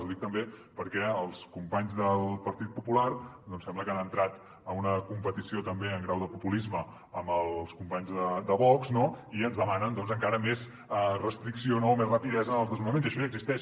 ho dic també perquè els companys del partit popular doncs sembla que han entrat en una competició també en grau de populisme amb els companys de vox no i ens demanen doncs encara més restricció no més rapidesa en els desnonaments i això ja existeix